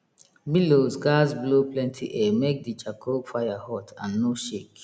bellows gatz blow plenty air make de charcoal fire hot and no shake